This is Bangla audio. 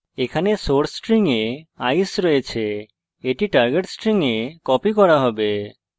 এখানে source string we ice আছে এটি target string we copied করা have